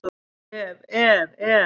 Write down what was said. Ef, ef, ef!